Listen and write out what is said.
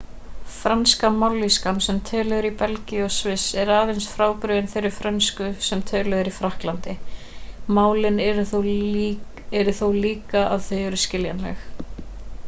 franska mállýskan sem töluð er í belgíu og sviss er aðeins frábrugðin þeirri frönsku sem töluð eru í frakklandi málin eru þó líka að þau eru skiljanleg